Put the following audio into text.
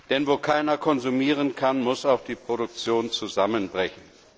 Denn wo keiner konsumieren kann, muss auch die Produktion zusammenbrechen.